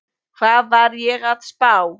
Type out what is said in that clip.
Hvað var ég að spá?